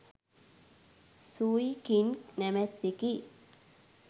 Sui King නමැත්තෙකි.